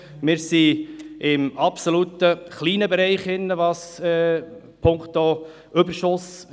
Der geplante Überschuss bewegt sich in einem sehr kleinen Rahmen.